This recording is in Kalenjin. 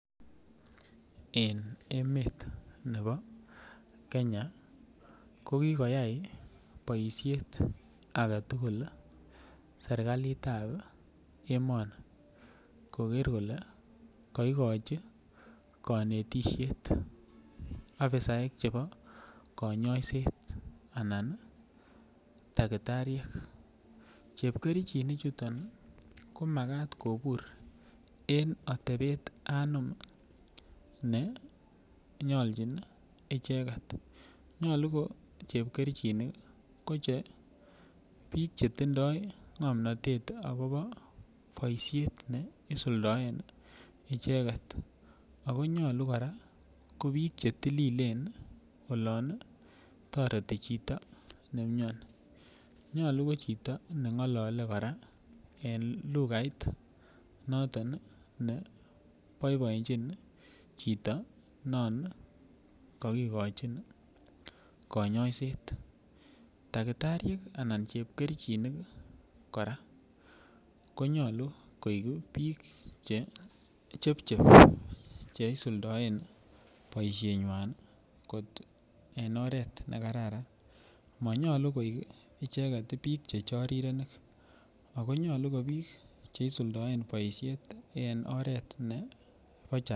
Eng emet nebo Kenya ko kikoyai boishet agetugul serikalit ap emoni koker kole kakikochi kanetishet ofisaek chebo konyoiset ana dakitariek chepkerchinik chuton komakat kobur eng atebet anom ne nyolchin icheket nyolu ko chepkerchinik ko che biik chetindoi ng'omnotet akobo boishet neisuldaen icheket akonyolu kora ko biik chetililen olon toreti chito neimioni nyolu ko chito nengolole kora eng lugait noton neboiboenchi chito non kakikochin konyoiset dakitariek anan chepkerchinik kora konyolu koek biik che chepchep cheisuldaen boishet nywan kot eng oret nekararan manyolu koek icheket biik che chorirenik ako nyolu ko biik che isuldaen boishet en oret nebo.